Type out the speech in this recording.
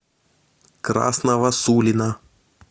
красного сулина